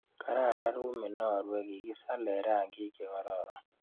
Kararan rumit ne arue, kikisale rangik che kororon.